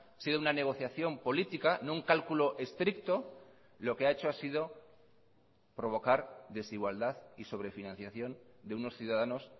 sido una negociación política no un cálculo estricto lo que ha hecho ha sido provocar desigualdad y sobrefinanciación de unos ciudadanos